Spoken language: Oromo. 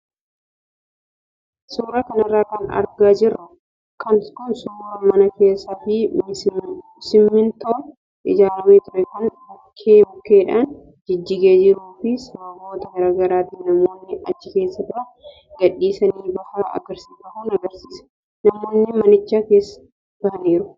Suuraa kanarra kan argaa jirru kun suuraa mana keessaa fi simmintoon ijaaramee ture kan bukkee bukkeedhaan jijjigee jiruu fi sababoota garaagaraatiin namoonni achi keessa turan gadhiisanii bahan agarsiisa. Namoonni manicha keessaa bahaniiru.